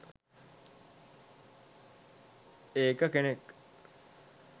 ඒක කෙනෙක්